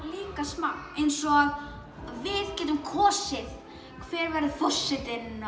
líka smá eins og við getum kosið hver verður forsetinn